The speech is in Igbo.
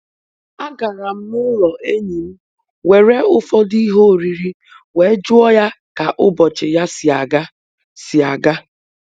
Ọ gwara otu nwa akwụkwọ ibe ya ka ọ kọwaa ihe omume ahụ mgbe ọ hapụchara oge mahadum abụọ